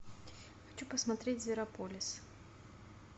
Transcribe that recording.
хочу посмотреть зверополис